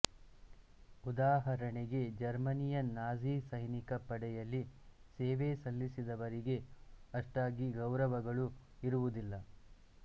ಉದಾಹರಣೆಗೆ ಜರ್ಮನಿಯ ನಾಜಿ ಸೈನಿಕ ಪಡೆಯಲ್ಲಿ ಸೇವೆ ಸಲ್ಲಿಸಿದವರಿಗೆ ಅಷ್ಟಾಗಿ ಗೌರವಗಳು ಇರುವುದಿಲ್ಲ